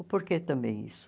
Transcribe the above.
O porquê também isso?